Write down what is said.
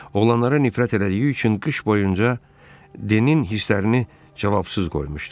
Oğlanlara nifrət elədiyi üçün qış boyunca Denin hisslərini cavabsız qoymuşdu.